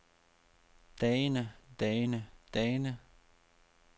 dagene dagene dagene